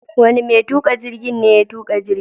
Wane mai tuƙa jirgi ne ya tuƙa jirgin?